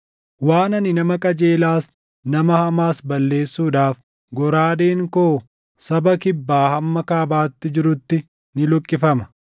Waan ani nama qajeelaas, nama hamaas balleessuudhaaf goraadeen koo saba kibbaa hamma kaabaatti jirutti ni luqqifama.